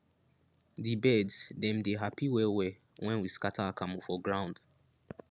di birds dem dey happy wellwell when we scatter akamu for ground